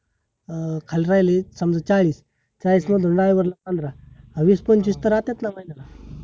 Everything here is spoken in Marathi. अं खाली राहीले समजा चाळीस चाळीस मधून driver ला पंधरा वीस पंचवीस तर राहतात ना महिन्याला